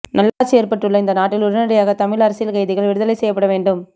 நல்லாட்சி ஏற்பட்டுள்ள இந்நாட்டில் உடனடியாக தமிழ் அரசியல் கைதிகள் விடுதலை செய்யப்பட வேண்டும்